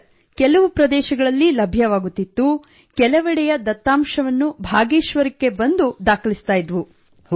sir ಕೆಲವು ಪ್ರದೇಶಗಳಲ್ಲಿ ಲಭ್ಯವಾಗುತ್ತಿತ್ತು ಕೆಲವೆಡೆಯ ದತ್ತಾಂಶವನ್ನು ಭಾಗೇಶ್ವರಕ್ಕೆ ಬಂದು ದಾಖಲಿಸುತ್ತಿದ್ದೆವು